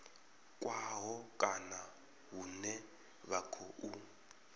khaho kana hune vha khou